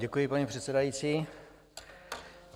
Děkuji, paní předsedající.